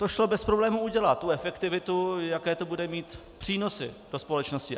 To šlo bez problémů udělat, tu efektivitu, jaké to bude mít přínosy pro společnosti.